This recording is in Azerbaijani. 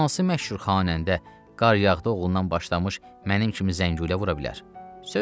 Hansı məşhur xanəndə Qar yağdı oğlundan başlamış, mənim kimi zəngulə vura bilər.